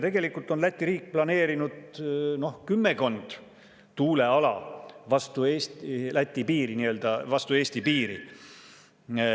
Tegelikult on Läti riik planeerinud kümmekond tuuleala vastu Eesti piiri.